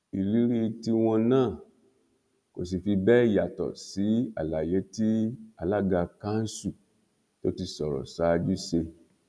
ìrírí tiwọn náà kò sì fi bẹẹ yàtọ sí àlàyé tí alága kanṣu tó ti sọrọ ṣáájú ṣe